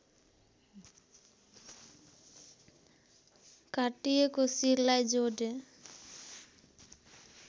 काटिएको शिरलाई जोडे